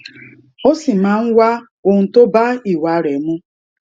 ó sì máa ń wá ohun tó bá ìwà rè mu